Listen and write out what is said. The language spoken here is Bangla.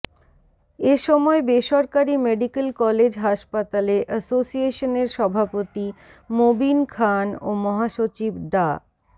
এ সময় বেসরকারি মেডিকেল কলেজ হাসপাতাল এসোসিয়েশনের সভাপতি মোবিন খান ও মহাসচিব ডা